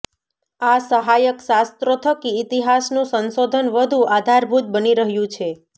આ સહાયક શાસ્ત્રો થકી ઇતિહાસનું સંશોધન વધું આધારભૂત બની રહ્યું છે